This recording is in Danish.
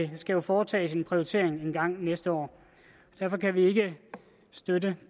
der skal jo foretages en prioritering engang næste år derfor kan vi ikke støtte